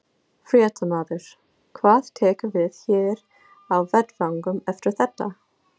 Fréttamaður: Hvað tekur við hér á vettvangnum eftir þetta?